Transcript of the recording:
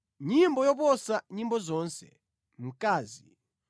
Nyimbo ya Solomoni, nyimbo yoposa nyimbo zonse.